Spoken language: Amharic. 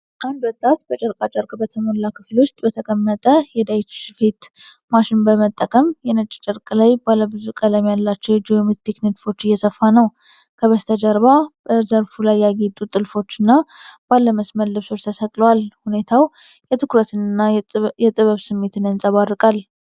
አንድ ወጣት በጨርቃ ጨርቅ በተሞላ ክፍል ውስጥ በተቀመጠ የዳይቺ ስፌት ማሽን በመጠቀም በነጭ ጨርቅ ላይ ባለ ብዙ ቀለም ያላቸውን ጂኦሜትሪክ ንድፎች እየሰፋ ነው። ከበስተጀርባ በዘርፉ ላይ ያጌጡ ጥልፎችና ባለ መስመር ልብሶች ተሰቅለዋል። ሁኔታዉ የትኩረትንና የጥበብ ስሜትን ያንጸባርቃል።